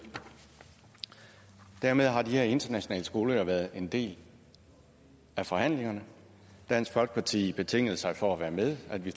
dermed har de her internationale skoler jo været en del af forhandlingerne dansk folkeparti betingede sig for at være med at de